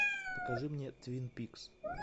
покажи мне твин пикс